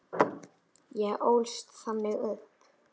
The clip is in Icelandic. Ég ólst þannig upp.